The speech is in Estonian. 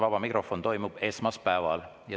Vaba mikrofon toimub esmaspäeval.